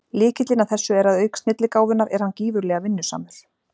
Lykillinn að þessu er að auk snilligáfunnar er hann gífurlega vinnusamur.